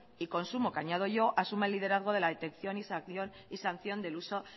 y consumo que añado yo asuma el liderazgo de la detección y sanción del uso